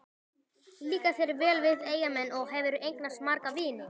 Líkar þér vel við Eyjamenn og hefurðu eignast marga vini?